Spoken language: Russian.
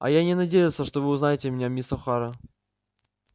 а я и не надеялся что вы узнаете меня мисс охара